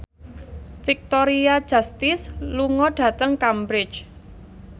Victoria Justice lunga dhateng Cambridge